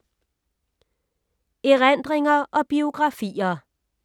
Erindringer og biografier